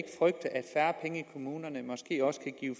kommunerne måske også kan give